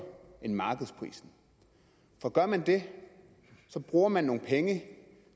end markedsprisen for gør man det bruger man nogle penge